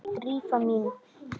Drífa mín?